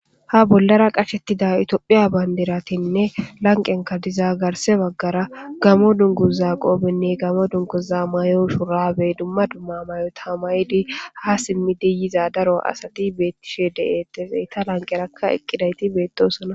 ha bollara qashettida itophiya bayndiratinne lanqenka dizagarse baggara gamo dunguza qoobenne gamo dunkuza may7o shurabe dumma dumma mayo tamaydi ha simmidi yiza daro asati beettishe de7etefey ta lanqerakka eqqidayti beettosona